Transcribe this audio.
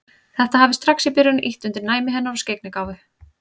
Þetta hafi strax í byrjun ýtt undir næmi hennar og skyggnigáfu.